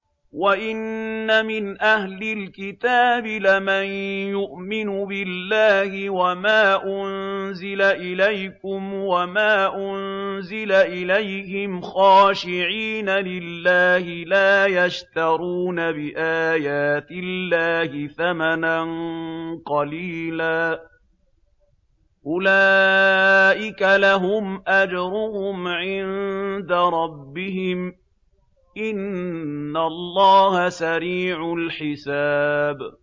وَإِنَّ مِنْ أَهْلِ الْكِتَابِ لَمَن يُؤْمِنُ بِاللَّهِ وَمَا أُنزِلَ إِلَيْكُمْ وَمَا أُنزِلَ إِلَيْهِمْ خَاشِعِينَ لِلَّهِ لَا يَشْتَرُونَ بِآيَاتِ اللَّهِ ثَمَنًا قَلِيلًا ۗ أُولَٰئِكَ لَهُمْ أَجْرُهُمْ عِندَ رَبِّهِمْ ۗ إِنَّ اللَّهَ سَرِيعُ الْحِسَابِ